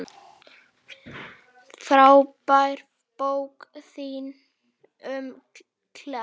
Frábær bókin þín um Klepp.